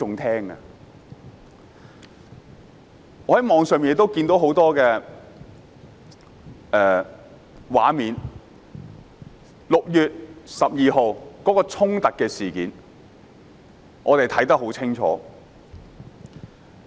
我在網上看到很多畫面，關於6月12日的衝突事件，我們看得很清楚。